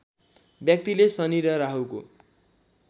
व्यक्तिले शनि र राहुको